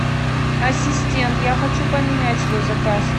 ассистент я хочу поменять свой заказ